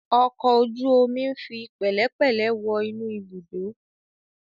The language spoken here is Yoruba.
Ọkọ̀ ojú omi ń fi pẹ̀lẹ́pẹ̀lẹ̀ wọ inú ibùdó.